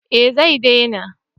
Eh zai dena